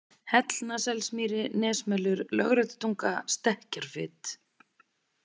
Hellnaselsmýri, Nesmelur, Lögréttutunga, Stekkjarfit